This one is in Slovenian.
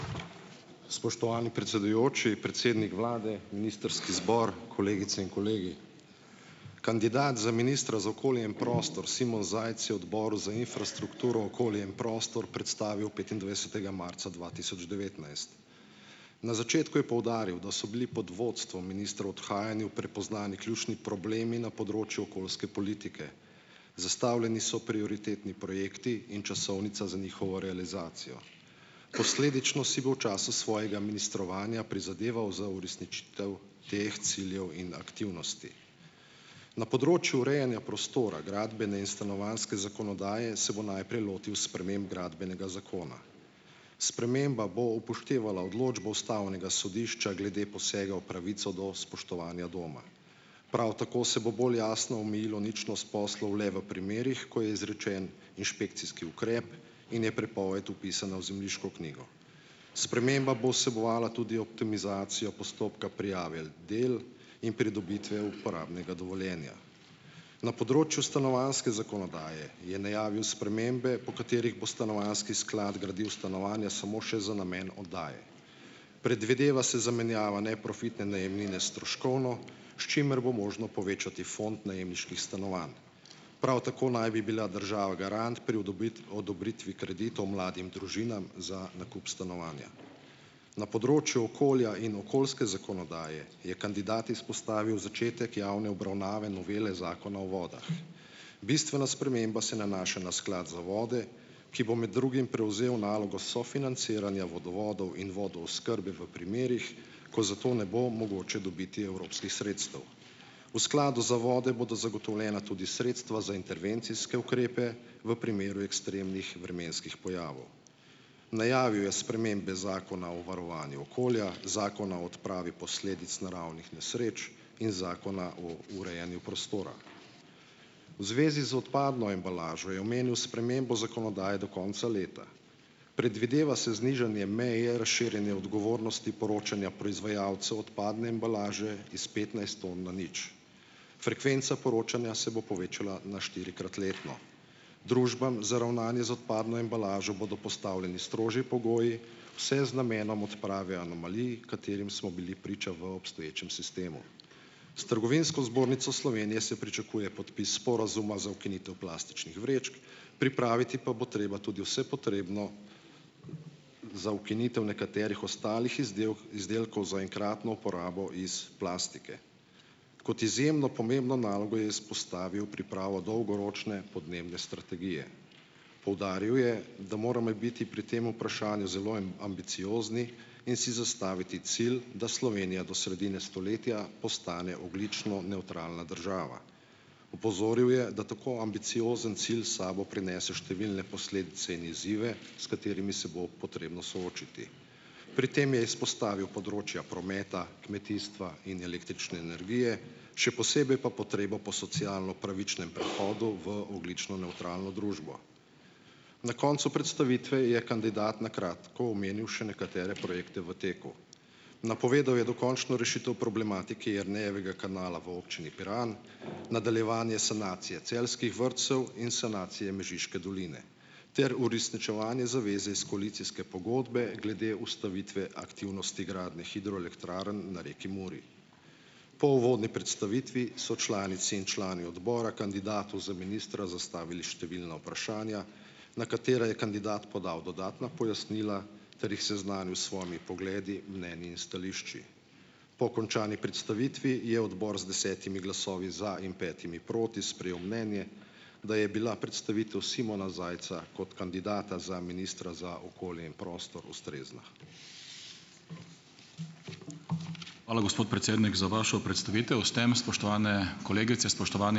Spoštovani predsedujoči, predsednik vlade, ministrski zbor , kolegice in kolegi. Kandidat za ministra za okolje in prostor, Simon Zajc, je odboru za infrastrukturo, okolje in prostor predstavil petindvajsetega marca dva tisoč devetnajst. Na začetku je poudaril, da so bili pod vodstvom ministra v odhajanju prepoznani ključni problemi na področju okoljske politike. Zastavljeni so prioritetni projekti in časovnica za njihovo realizacijo. Posledično si bo v času svojega ministrovanja prizadeval za uresničitev teh ciljev in aktivnosti. Na področju urejanja prostora, gradbene in stanovanjske zakonodaje, se bo najprej lotil sprememb Gradbenega zakona. Sprememba bo upoštevala odločbo ustavnega sodišča glede posega v pravico do spoštovanja doma. Prav tako se bo bolj jasno omejilo ničnost poslov le v primerih, ko je izrečen inšpekcijski ukrep in je prepoved vpisana v zemljiško knjigo. Sprememba bo vsebovala tudi optimizacijo postopka prijave del in pridobitve uporabnega dovoljenja . Na področju stanovanjske zakonodaje je najavil spremembe, po katerih bo stanovanjski sklad gradil stanovanja samo še za namen oddaje. Predvideva se zamenjava neprofitne najemnine s stroškovno, s čimer bo možno povečati fond najemniških stanovanj. Prav tako naj bi bila država garant pri odobritvi kreditov mladim družinam za nakup stanovanja. Na področju okolja in okoljske zakonodaje je kandidat izpostavil začetek javne obravnave novele Zakona o vodah. Bistvena sprememba se nanaša na sklad za vode, ki bo med drugim prevzel nalogo sofinanciranja vodovodov in vodooskrbe v primerih, ko za to ne bo mogoče dobiti evropskih sredstev. V skladu za vode bodo zagotovljena tudi sredstva za intervencijske ukrepe v primeru ekstremnih vremenskih pojavov. Najavil je spremembe Zakona o varovanju okolja, Zakona o odpravi posledic naravnih nesreč in Zakona o urejanju prostora. V zvezi z odpadno embalažo je omenil spremembo zakonodaje do konca leta. Predvideva se znižanje meje razširjanja odgovornosti poročanja proizvajalcev odpadne embalaže iz petnajst tam na nič. Frekvenca poročanja se bo povečala na štirikrat letno . Družbam za ravnanje z odpadno embalažo bodo postavljeni strožji pogoji, vse z namenom odprave anomalij, katerim smo bili priča v obstoječem sistemu. S Trgovinsko zbornico Slovenije se pričakuje podpis sporazuma za ukinitev plastičnih vrečk, pripraviti pa bo treba tudi vse potrebno za ukinitev nekaterih ostalih izdelkov za enkratno uporabo iz plastike. Kot izjemno pomembno nalogo je izpostavil pripravo dolgoročne podnebne strategije. Poudaril je, da moramo biti pri tem vprašanju zelo ambiciozni in si zastaviti cilj, da Slovenija do sredine stoletja postane ogljično nevtralna država. Opozoril je, da tako ambiciozen cilj sabo prinese številne posledice in izzive, s katerimi se bo potrebno soočiti . Pri tem je izpostavil področja prometa, kmetijstva in električne energije, še posebej pa potrebo po socialno pravičnem prehodu v ogljično nevtralno družbo. Na koncu predstavitve je kandidat na kratko omenil še nekatere projekte v teku. Napovedal je dokončno rešitev problematike Jernejevega kanala v občini Piran, nadaljevanje sanacije celjskih vrtcev in sanacije Mežiške doline ter uresničevanje zaveze iz koalicijske pogodbe glede ustavitve aktivnosti gradne hidroelektrarn na reki Muri. Po uvodni predstavitvi so članice in člani odbora kandidatu za ministra zastavili številna vprašanja, na katera je kandidat podal dodatna pojasnila, ter jih seznanil s svojimi pogledi, mnenji in stališči. Po končani predstavitvi je odbor z desetimi glasovi za in petimi proti sprejel mnenje, da je bila predstavitev Simona Zajca kot kandidata za Ministra za okolje in prostor ustrezna. Hvala, gospod predsednik za vašo predstavitev. S tem spoštovane kolegice, spoštovani ...